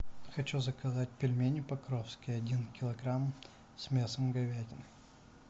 хочу заказать пельмени покровские один килограмм с мясом говядины